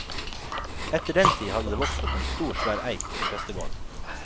Etter den tid hadde det vokst opp en stor, svær eik i prestegården.